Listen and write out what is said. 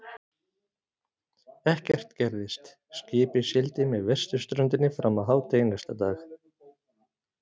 Ekkert gerðist, skipið sigldi með vesturströndinni fram að hádegi næsta dag.